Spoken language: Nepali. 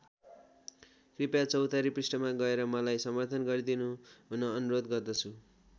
कृपया चौतारी पृष्ठमा गएर मलाई समर्थन गरिदिनुहुन अनुरोध गर्दछु।